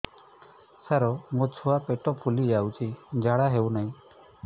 ସାର ମୋ ଛୁଆ ପେଟ ଫୁଲି ଯାଉଛି ଝାଡ଼ା ହେଉନାହିଁ